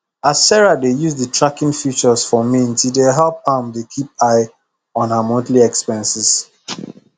as sarah dey use the tracking feature for mint e dey help am dey keep eye on her monthly expenses